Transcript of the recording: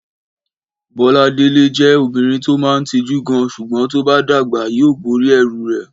Bọ́làdàlé jẹ òbínrín tó mà ń tíjù gán, súgbòn tóbà dàgbá yio bórì ẹrú rẹ